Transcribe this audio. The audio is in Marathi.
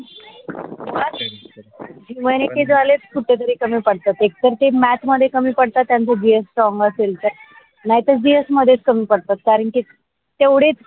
वैनेके झाले कुट तरी कमी पड तात एक तर ते math कमी पडतात ज्याचं gsstrong असेल तर नाही तर gs मध्ये पडतात कारण कि तेवडे